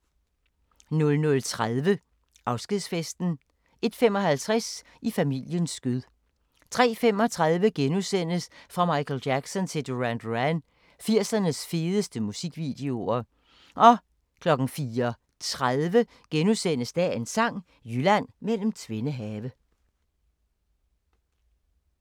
00:30: Afskedsfesten 01:55: I familiens skød 03:35: Fra Michael Jackson til Duran Duran – 80'ernes fedeste musikvideoer * 04:30: Dagens Sang: Jylland mellem tvende have *